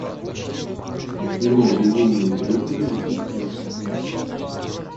кино безумные преподы запусти